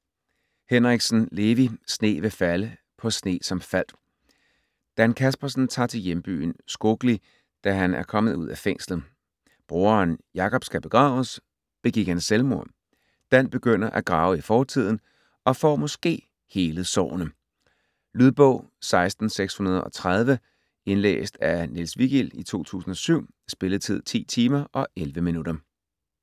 Henriksen, Levi: Sne vil falde på sne som faldt Dan Kaspersen tager til hjembyen Skogli, da han er kommet ud af fængslet. Broderen Jakob skal begraves. Begik han selvmord? Dan begynder at grave i fortiden, og får måske helet sårene. Lydbog 16630 Indlæst af Niels Vigild, 2007. Spilletid: 10 timer, 11 minutter.